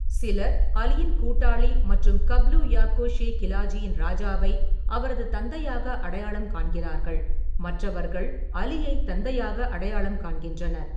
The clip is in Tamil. சிலர் அலியின் கூட்டாளி மற்றும் கப்லு யாப்கோ ஷே கிலாஜியின் ராஜாவை அவரது தந்தையாக அடையாளம் காண்கிறார்கள், மற்றவர்கள் அலியை தந்தையாக அடையாளம் காண்கின்றனர்.